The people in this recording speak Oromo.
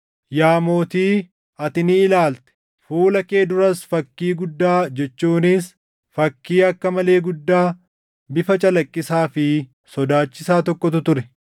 “Yaa mootii, ati ni ilaalte; fuula kee duras fakkii guddaa jechuunis fakkii akka malee guddaa, bifa calaqqisaa fi sodaachisaa tokkotu ture.